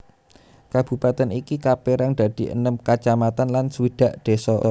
Kabupatèn ini kapérang dadi enem kacamatan lan swidak désa